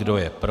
Kdo je pro?